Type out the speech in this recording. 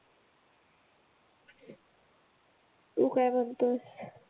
तू काय म्हणतोएस?